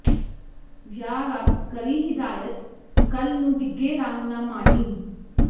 ਯਾ ਰੱਬ ਕਰੀਂ ਹਿਦਾਇਤ ਕੱਲ ਨੂੰ ਡਿੱਗੇ ਰਾਹ ਨਾ ਮਾਈਂ